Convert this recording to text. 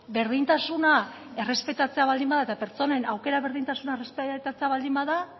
berdintasuna errespetatzea baldin bada eta pertsonen aukera berdintasuna errespetatzea baldin bada